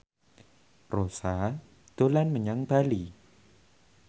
Rossa dolan menyang Bali